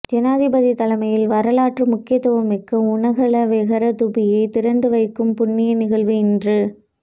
ஜனாதிபதி தலைமையில் வரலாற்று முக்கியத்துவமிக்க உனகலா வெஹர தூபியை திறந்து வைக்கும் புண்ணிய நிகழ்வு இன்று